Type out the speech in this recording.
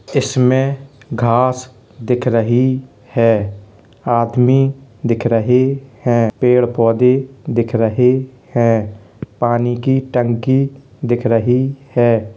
इसमें घास दिख रही है आदमी दिख रहे हैं पेड़ पौधे दिख रहे हैं पानी की टंकी दिख रही है।